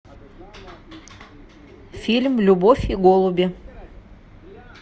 фильм любовь и голуби